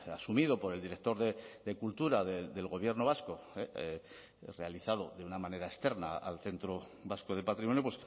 asumido por el director de cultura del gobierno vasco realizado de una manera externa al centro vasco de patrimonio